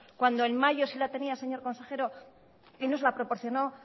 cuando en mayo sí la tenía señor consejero y nos la proporcionó